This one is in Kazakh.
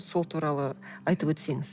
сол туралы айтып өтсеңіз